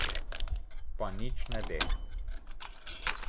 Pa nič ne de.